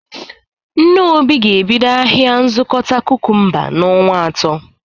Nne Obi ga-ebido ahịa nzụkọta kukumba n"onwa atọ